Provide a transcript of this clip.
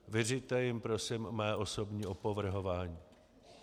Vyřiďte jim prosím mé osobní opovrhování.